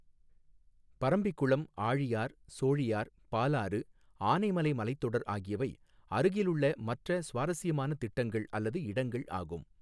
பரம்பிக்குளம், ஆழியார், சோழியார், பாலாறு, ஆனைமலை மலைத்தொடர் ஆகியவை அருகிலுள்ள மற்ற சுவாரஸ்யமான திட்டங்கள் அல்லது இடங்கள் ஆகும்.